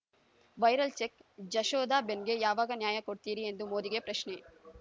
viral check ಜಶೋದಾಬೆನ್‌ಗೆ ಯಾವಾಗ ನ್ಯಾಯ ಕೊಡ್ತೀರಿ ಎಂದು ಮೋದಿಗೆ ಪ್ರಶ್ನೆ